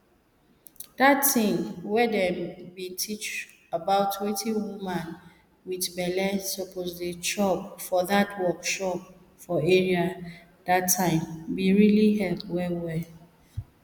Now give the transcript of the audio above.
dat tin wey dem be teach about wetin woman wit belle suppose dey chop for dat workshop for area dat time be help well well